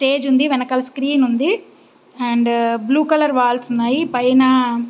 Stage ఉంది వెనకాల screen ఉంది. అండ్ బ్లూ కలర్ వాల్స్ ఉన్నాయి. పైన --